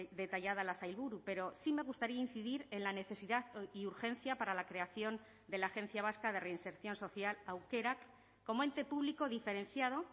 detallada la sailburu pero sí me gustaría incidir en la necesidad y urgencia para la creación de la agencia vasca de reinserción social aukerak como ente público diferenciado